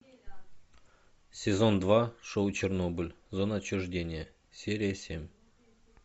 сезон два шоу чернобыль зона отчуждения серия семь